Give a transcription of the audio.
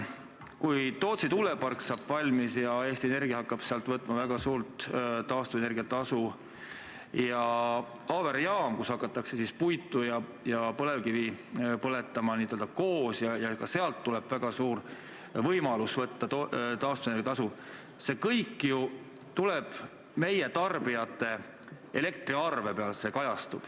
Kui Tootsi tuulepark saab valmis ja Eesti Energia hakkab sealt võtma väga suurt taastuvenergia tasu ning Auvere jaamas hakatakse puitu ja põlevkivi koos põletama ja ka sealt tuleneb väga suur võimalus nõuda taastuvenergia tasu, siis see kõik ju kajastub meie tarbijate elektriarvel.